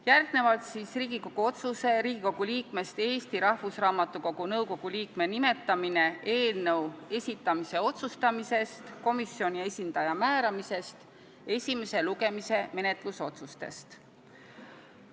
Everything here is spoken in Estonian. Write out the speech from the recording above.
Järgnevalt Riigikogu otsuse "Riigikogu liikmest Eesti Rahvusraamatukogu nõukogu liikme nimetamine" eelnõu esitamise otsustamisest, komisjoni esindaja määramisest ja esimese lugemise menetlusotsustest.